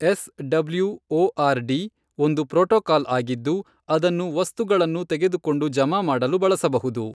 S W O R D , ಒಂದು protocol ಆಗಿದ್ದು, ಅದನ್ನು ವಸ್ತುಗಳನ್ನು ತೆಗೆದುಕೊಂಡು ಜಮಾ ಮಾಡಲು ಬಳಸಬಹುದು.